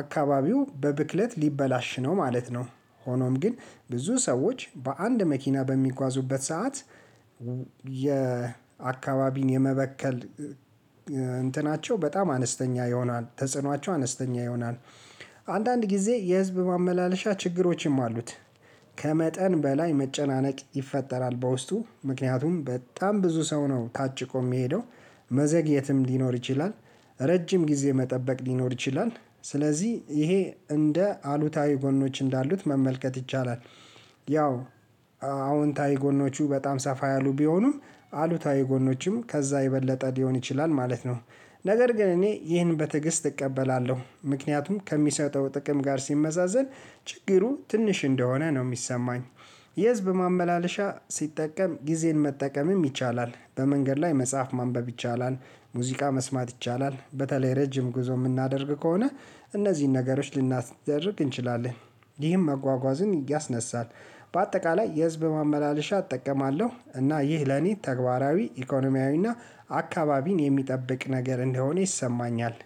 አካባቢው በብክለት ሊበላሽ ነው ማለት ነው። ሆኖም ግን ብዙ ሰዎች በአንድ መኪና በሚጓዙበት ሰዓት የአካባቢን የመበከል እንትናቸው በጣም አነስተኛ ይሆናል ተጽኗቸው አነስተኛ ይሆናል። አንዳንድ ጊዜ የህዝብ ማመላለሻ ችግሮችም አሉት። ከመጠን በላይ መጨናነቅ ይፈጠራል በውስጡ ምክንያቱም በጣም ብዙ ሰው ነው ታጭቆ የሚሄደው መዘግየትም ሊኖር ይችላል። ረጅም ጊዜ መጠበቅ ሊኖር ይችላል። ስለዚህ ይሄ እንደ አሉታዊ ጎኖች እንዳሉት መመልከት ይቻላል። ያው አዎንታዊ ጎኖቹ በጣም ሰፋ ያሉ ቢሆኑ አሉታዊ ጎኖችም ከዛ የበለጠ ሊሆን ይችላል ማለት ነው። ነገር ግን እኔ ይህን በትዕግስት እቀበላለሁ ምክንያቱም ከሚሰጠው ጥቅም ጋር ሲመዛዘን ችግሩ ትንሽ እንደሆነ ነው የሚሰማኝ። የህዝብ ማመላለሻ ሲጠቀም ጊዜን መጠቀምም ይቻላል በመንገድ ላይ መጽሐፍ ማንበብ ይቻላል። ሙዚቃ መስማት ይቻላል በተለይ ረጅም ጉዞ የምናደርግ ከሆነ እነዚህን ነገሮች ልናስደርግ እንችላለን። ይህን መጓጓዝን ያስነሳል። በአጠቃላይ የህዝብ ማመላለሻ እጠቀማለሁ እና ይህ ለኔ ተግባራዊ ኢኮኖሚያዊና አካባቢን የሚጠብቅ ነገር እንደሆነ ይሰማኛል።